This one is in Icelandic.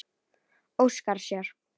Óskar sér.